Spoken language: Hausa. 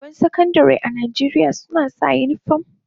Daliban Sakandare a Najeriya suna sa unifom.